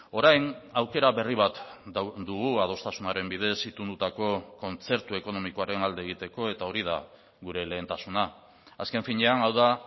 orain aukera berri bat dugu adostasunaren bidez itundutako kontzertu ekonomikoaren alde egiteko eta hori da gure lehentasuna azken finean hau da